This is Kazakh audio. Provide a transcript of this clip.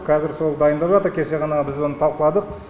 қазір сол дайындап жатыр кеше ғана біз оны талқыладық